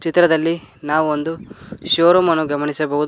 ಚಿತ್ರದಲ್ಲಿ ನಾವು ಒಂದು ಶೋರೂಮ್ ಅನ್ನು ಗಮನಿಸಬಹುದು.